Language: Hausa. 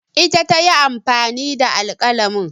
Ita ta yi amfani da alƙalamin